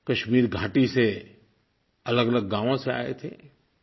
कश्मीर घाटी से अलगअलग गाँवों से आए थे